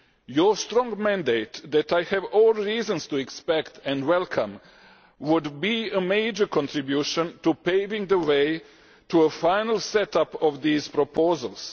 Your strong mandate, which I have every reason to expect and welcome, would be a major contribution to paving the way to finally setting up these proposals.